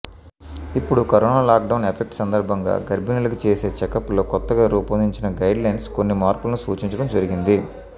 ఇప్పుడు corona lockdown effect సందర్భంగా గర్భిణులకు చేసే చెకప్స్లో కొత్తగా రూపొందించిన గైడ్లైన్స్ కొన్ని మార్పులను సూచించడం జరిగింది